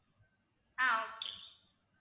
ஆஹ் okay